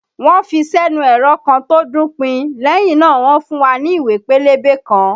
Wọ́n ń fi sẹ́nu ẹ̀rọ kan tó ń dún pin, lẹ́yìn náà wọn fún wa ní ìwé pélébé kan